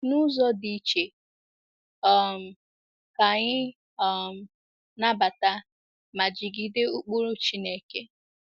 N’ụzọ dị iche, um ka anyị um nabata ma jigide ụkpụrụ Chineke.